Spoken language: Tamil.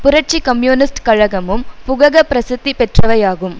புரட்சி கம்யூனிஸ்ட் கழகமும் புகக பிரசித்தி பெற்றவையாகும்